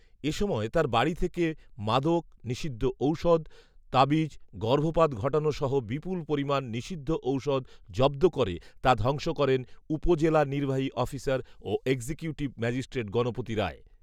এ সময় তার বাড়ী থেকে মদক, নিষিদ্ধ ঔষুধ, তাবিজ, গর্ভপাত ঘটানোসহ বিপুল পরিমান নিষিদ্ধঔষুধ জব্দ করে তা ধ্বংস করেন উপজেলা নির্বাহী অফিসার ও এক্সিকিউটিভ ম্যাজিষ্ট্রেট গনপতি রায়